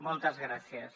moltes gràcies